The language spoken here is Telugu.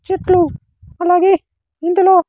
చెట్లు అలాగే ఇందులో.